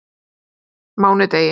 mánudegi